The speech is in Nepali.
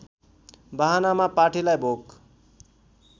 बहानामा पाठीलाई भोग